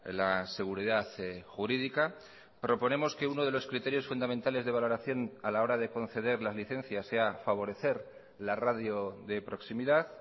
la seguridad jurídica proponemos que uno de los criterios fundamentales de valoración a la hora de conceder las licencias sea favorecer la radio de proximidad